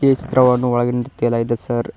ಈ ಚಿತ್ರವನ್ನು ಒಳಗಿನಿಂದ ತೆಗೆಯಲಾಗಿದೆ ಸರ್ .